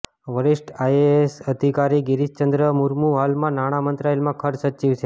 વરિષ્ઠ આઈએએસ અધિકારી ગિરીશચંદ્ર મુર્મુ હાલમાં નાણાં મંત્રાલયમાં ખર્ચ સચિવ છે